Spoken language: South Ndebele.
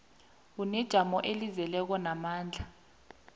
unejamo elizeleko namandla